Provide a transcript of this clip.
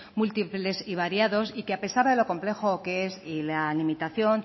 múltiples y variados y que a pesar de lo complejo que es la limitación